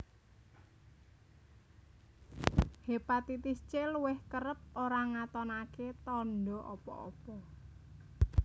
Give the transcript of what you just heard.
Hépatitis C Luwih kerep ora ngatonaké tanda apa apa